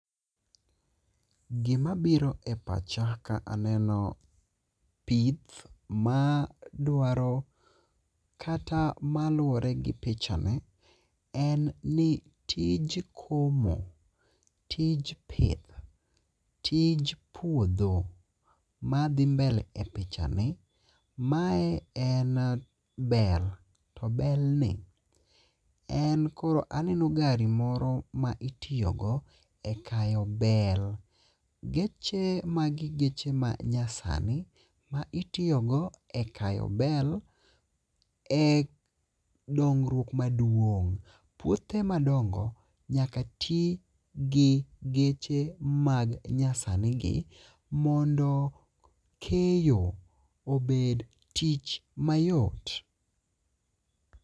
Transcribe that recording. Gimabiro e pacha ka aneno pith ma dwaro kata maluwore gi pichani en ni tij komo ,tij pith ,tij puodho madhi mbele e pichani, mae en bel, to belni en koro aneno gari moro mitiyogo e kayo be. Geche, magi geche manyasani ma itiyogo e kayo bel e dongruok maduong'. Puothe madongo nyaka ti gi geche manyasanigi mondo keyo obed tich mayot.